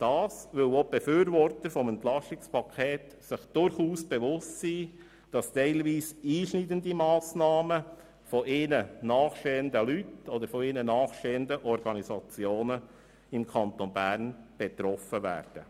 Dem ist so, weil sich auch die Befürworter des Pakets durchaus bewusst sind, dass teilweise einschneidende Massnahmen ihnen nahestehende Leute oder Organisationen im Kanton Bern betreffen werden.